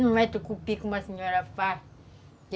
Não é tucupi como a senhora faz.